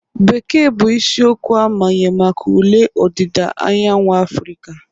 Bekee bụ isiokwu amanye maka ule ọdida anyanwụ Afirica